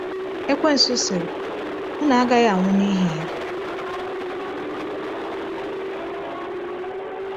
Ekwensụ sịrị: “Unu agaghị anwụ n’ihi ya.”